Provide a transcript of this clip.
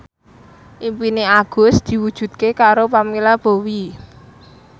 impine Agus diwujudke karo Pamela Bowie